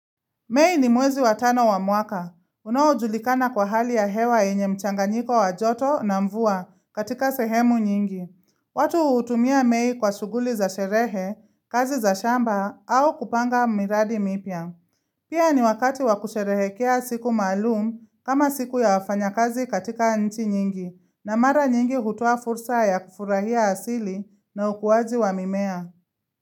Mei ni mwezi watano wa mwaka. Unaojulikana kwa hali ya hewa yenye mchanganyiko wa joto na mvua katika sehemu nyingi. Watu hutumia mei kwa shughuli za sherehe, kazi za shamba, au kupanga miradi mipya. Pia ni wakati wakusherehekea siku maalum kama siku ya wafanyakazi katika nchi nyingi, na mara nyingi hutoa fursa ya kufurahia asili na ukuaji wa mimea.